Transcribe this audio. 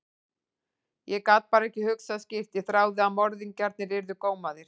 Ég gat bara ekki hugsað skýrt, ég þráði að morðingjarnir yrðu gómaðir.